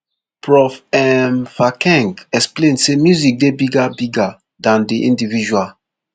prof um phakeng explain say music dey bigger bigger dan di individual